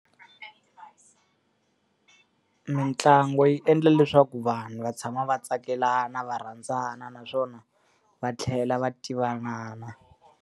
Mintlangu yi endla leswaku vanhu va tshama va tsakelana, va rhandzana naswona va tlhela va tivanana.